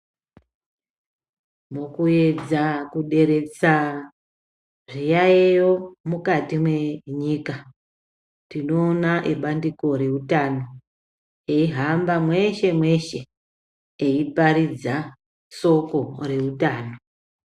Mukuedza kuderedza zviyaiyo mukati menyika, tinoona ebandiko reutano, eihamba mweshe, mweshe eiparidza soko reutano.